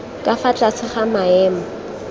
ka fa tlase ga maemo